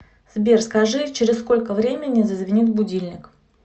сбер скажи через сколько времени зазвенит будильник